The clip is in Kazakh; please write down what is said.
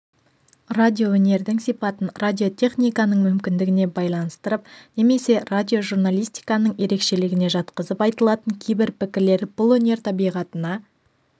радиоөнердің сипатын радиотехниканың мүмкіндігіне байланыстырып немесе радиожурналистиканың ерекшелігіне жатқызып айтылатын кейбір пікірлер бұл өнер табиғатына